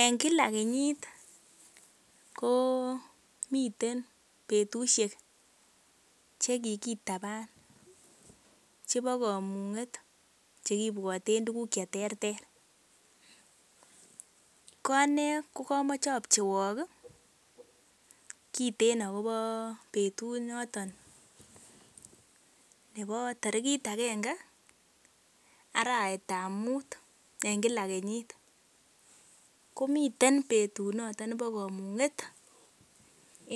En kila kenyit komiten betushek che kigitaban chebo komung'et chekibwoten tuguk che terter. Ko ane kogamoche apcheiwok ketin agobo betut noton nebo tarigit agenge arawetab mut en kila kenyit. Komiten betut noton nebo komung'et